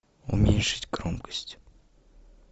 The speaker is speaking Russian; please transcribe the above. уменьшить громкость